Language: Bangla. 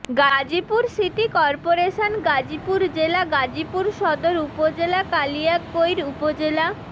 গাজীপুর সিটি করপোরেশন গাজীপুর জেলা গাজীপুর সদর উপজেলা কালিয়াকৈর উপজেলা